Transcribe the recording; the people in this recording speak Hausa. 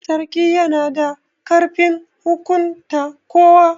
Sarki yana da ƙarfin hukunta kowa.